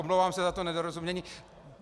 Omlouvám se za to nedorozumění.